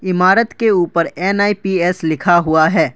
इमारत के ऊपर एन आई पी एस लिखा हुआ है।